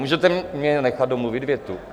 Můžete mě nechat domluvit větu?